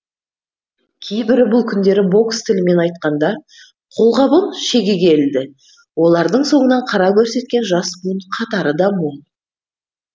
кейбірі бұл күндері бокс тілімен айтқанда қолғабын шегеге ілді олардың соңынан қара көрсеткен жас буын қатары да мол